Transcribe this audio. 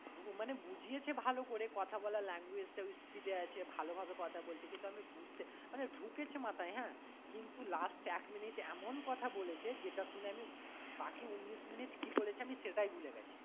মানে বুঝিয়েছে ভালো করে কথা বলার language টাও speed এ আছে ভালো ভাবে কথা বলছে কিন্তু আমি বুজতে মানে ঢুকেছে মাথায় হ্যাঁ কিন্তু last এক minute এমন কথা বলেছে যেটা শুনে আমি বাকি উনিশ minute কী বলেছে আমি সেটাই ভুলে গেছি।